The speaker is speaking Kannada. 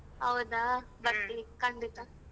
ಹೌದಾ ಬರ್ತಿವಿ ಖಂಡಿತ.